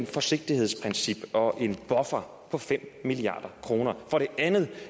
forsigtighedsprincip og en buffer på fem milliard kroner for det andet